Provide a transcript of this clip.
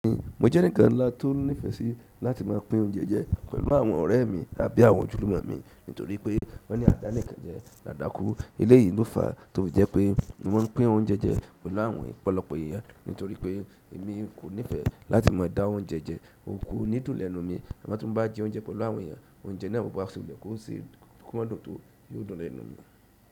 Mo jẹ́ eǹikan ńlá tó nífẹsí láti máa pín oúnjẹ jẹ pẹ̀lú àwọn ọ̀rẹ́ mi tàbí àwọn ojulumo mi nítorí pé wón ní àdánìkanjẹ, dadakú. Eleyìí ló fàá tó jẹ́ pé mo ń pín oúnjẹ jẹ pẹ̀lú àwọn ọ̀pọ̀lọpọ̀ èèyàn nítorí pé èmi kò nífẹ̀ẹ́ láti má a dá oúnjẹ jẹ ò ko ní dùn lẹ́nu mi. Àmọ́ ti n bá jẹ oúnjẹ pẹ̀lú àwọn èèyàn, oúnjẹ náà gbọdọ̀ wá sílẹ̀ kí ó sì kúnlẹ̀ tó yóò dùn lẹ́nu mi.